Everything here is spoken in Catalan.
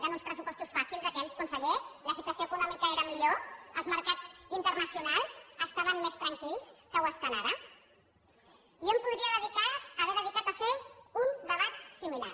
eren un pressupostos fàcils aquells conseller la situació econòmica era millor els mercats internacionals estaven més tranquils que ho estan ara jo em podria haver dedicat a fer un debat similar